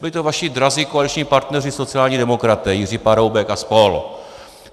Byli to vaši drazí koaliční partneři, sociální demokraté, Jiří Paroubek a spol.